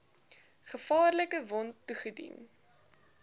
gevaarlike wond toegedien